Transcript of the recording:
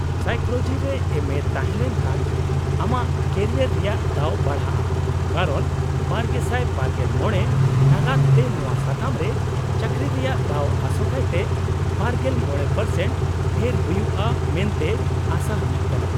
-Psychology ᱨᱮ ᱮᱢᱹᱮ ᱛᱟᱦᱮᱸᱞᱮᱱ ᱠᱷᱟᱱ ᱟᱢᱟᱜ ᱠᱮᱨᱤᱭᱟᱨ ᱨᱮᱭᱟᱜ ᱫᱟᱣ ᱵᱟᱲᱦᱟᱜᱼᱟ ᱠᱟᱨᱚᱱ ᱒᱐᱒᱕ ᱱᱟᱜᱟᱫ ᱛᱮ ᱱᱚᱶᱟ ᱥᱟᱛᱟᱢ ᱨᱮ ᱪᱟᱠᱨᱤ ᱨᱮᱭᱟᱜ ᱫᱟᱣ ᱟᱥᱚᱠᱟᱭᱛᱮ ᱒᱕% ᱰᱷᱮᱨ ᱦᱩᱭᱩᱜᱼᱟ ᱢᱮᱱᱛᱮ ᱟᱥᱟ ᱦᱩᱭᱩᱜ ᱠᱟᱱᱟ ᱾